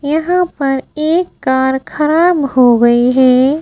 यहां पर एक कार खराब हो गई है।